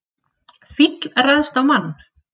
Fíll ræðst á mann